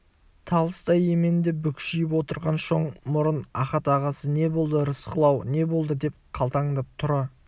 талыстай еменде бүкшиіп отырған шоң мұрын ахат ағасы не болды рысқұл-ау не болды деп қалтаңдап тұра